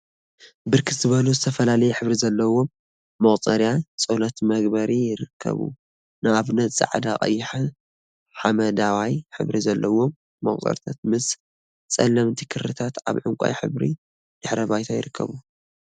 ብርክት ዝበሉ ዝተፈላለየ ሕብሪ ዘለዎም መቁፀሪያ/ፀሎት መግበሪ/ ይርከቡ፡፡ ንአብነት ፃዕዳ፣ ቀይሕን ሓመደዋይ ሕብሪን ዘለዎም መቁፀሪያታት ምሰ ፀለምቲ ክሪታት አብ ዕንቋይ ሕብሪ ድሕረ ባይታ ይርከቡ፡፡